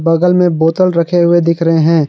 बगल में बोतल रखे हुए दिख रहे हैं।